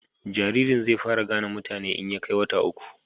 jaririn zai fara gane mutane in ya kai wata uku